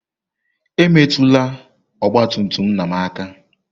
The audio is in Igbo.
Emetụla ọgba tum tum nna m aka!